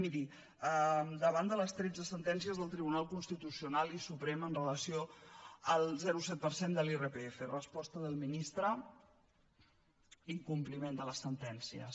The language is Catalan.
miri davant de les tretze sentències del tribunal constitucional i suprem amb relació al zero coma set per cent de l’irpf resposta del ministre incompliment de les sentències